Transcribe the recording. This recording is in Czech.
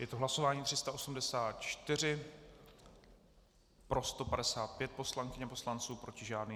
Je to hlasování 384, pro 155 poslankyň a poslanců, proti žádný.